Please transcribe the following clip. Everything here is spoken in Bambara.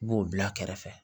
I b'o bila kɛrɛfɛ